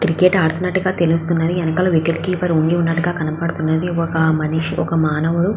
Cricket ఆడుతునట్టుగా తెలుస్తుంది. వెనకాల వికెట్ కీపర్ ఉండి ఉన్నట్టుగా కనపడతుంది. ఒక మనిషి ఒక మానవుడు --